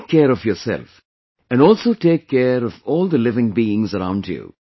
Take care of yourself and also take care of all the living being around you